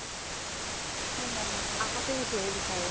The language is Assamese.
আগতে সেইটোহে বিছাৰে